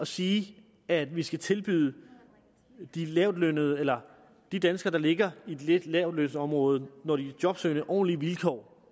sige at vi skal tilbyde de lavtlønnede eller de danskere der ligger lidt i lavtlønsområdet når de er jobsøgende ordentlige vilkår